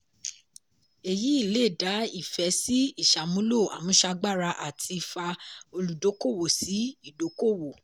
èyí lé dá ìfẹ́ sí ìṣàmúlò àmúṣagbára àti fa olùdókòwò sí ìdokòwò.